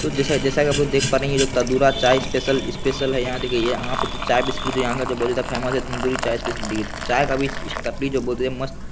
तो जैसा-जैसा की आप लोग देख पा रहे हैं ये जो तन्दूरा चाय स्पेशल स्पेशल है यहाँ देखिये यहाँ पे तो चाय-बिस्कुट यहाँ का बहुत ज्यादा फेमस है तंदूरी चाय स्पेशल टी चाय का भी टपरी जो बोलते जो मस्त--